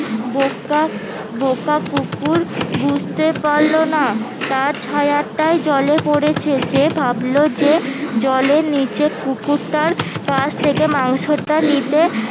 বোকা কুকুর বুঝতে পারলোনা তার ছায়াটাই জলে পড়েছে সে ভাবলো যে জলের নিচে কুকুরটার কাছ থেকে মাংসটা নিতে